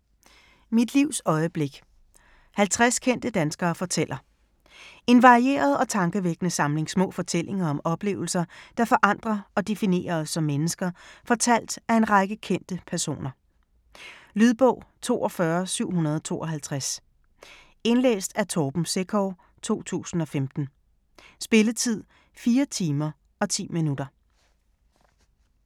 Mit livs øjeblik: 50 kendte danskere fortæller En varieret og tankevækkende samling små fortællinger om oplevelser, der forandrer og definerer os som mennesker, fortalt af en række kendte personer. Lydbog 42752 Indlæst af Torben Sekov, 2015. Spilletid: 4 timer, 10 minutter.